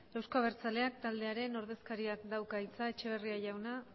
euzko abertzaleak taldearen ordezkariak dauka hitza etxeberria jauna